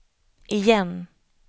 igen